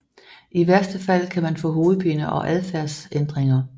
I værste fald kan man få hovedpine og adfærdsændringer